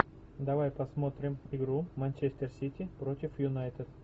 давай посмотрим игру манчестер сити против юнайтед